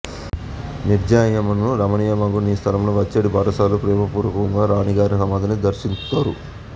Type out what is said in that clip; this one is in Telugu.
నిర్జనమయ్యును రమణీయమగు నీ స్థలమునకు వచ్చెడి బాటసారులు ప్రేమపూర్వకముగా రాణీగారి సమాధిని దర్శింతురు